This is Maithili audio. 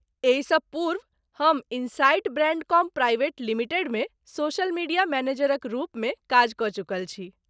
एहिसँ पूर्व हम इनसाइट ब्रैण्डकॉम प्राइवेट लिमिटेडमे सोशल मीडिया मैनेजरक रूपमे काज कऽ चुकल छी।